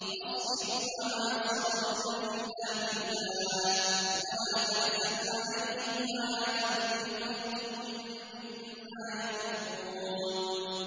وَاصْبِرْ وَمَا صَبْرُكَ إِلَّا بِاللَّهِ ۚ وَلَا تَحْزَنْ عَلَيْهِمْ وَلَا تَكُ فِي ضَيْقٍ مِّمَّا يَمْكُرُونَ